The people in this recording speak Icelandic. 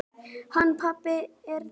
Hann pabbi er dáinn.